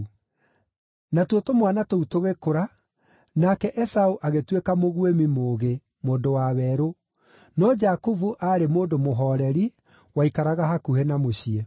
Natuo tũmwana tũu tũgĩkũra, nake Esaũ agĩtuĩka mũguĩmi mũũgĩ, mũndũ wa werũ, no Jakubu aarĩ mũndũ mũhooreri, waikaraga hakuhĩ na mũciĩ.